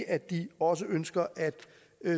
at de også ønsker at